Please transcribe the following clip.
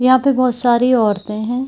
यहां पे बहोत सारी औरतें हैं।